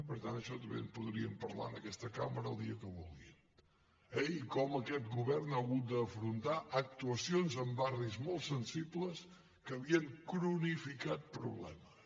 per tant d’això també en podríem parlar en aquesta cambra el dia que vulguin eh i com aquest govern ha hagut d’afrontar actuacions en barris molt sensibles que havien cronificat problemes